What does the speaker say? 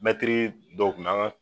Mɛtiri dɔ kun